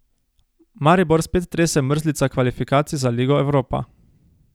Maribor spet trese mrzlica kvalifikacij za Ligo Evropa.